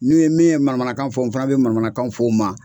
Ni min ye manamanakan fɔ n fana be manamanakan fɔ o ma